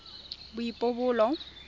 boipobolo